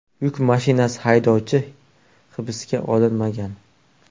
Yuk mashinasi haydovchi hibsga olinmagan.